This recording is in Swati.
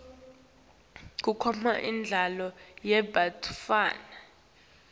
kukhona imidlalo yebantfwana